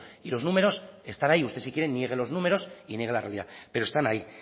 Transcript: y los números están ahí usted si quiere niegue los números y niegue la realidad pero están ahí